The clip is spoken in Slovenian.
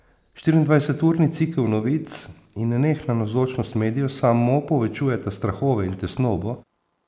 Štiriindvajseturni cikel novic in nenehna navzočnost medijev samo povečujeta strahove in tesnobo.